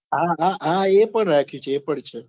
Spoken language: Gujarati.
હા હા એ પણ રાખ્યું છે એ પણ છે.